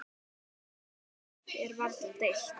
Um þetta er varla deilt.